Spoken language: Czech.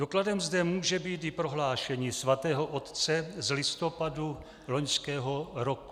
Dokladem zde může být i prohlášení Svatého otce z listopadu loňského roku.